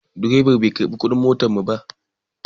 Direban bai karɓi kuɗin motar mu ba.